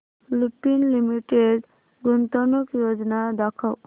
Lupin limited गुंतवणूक योजना दाखव